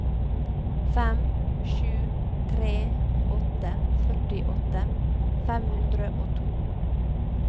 fem sju tre åtte førtiåtte fem hundre og to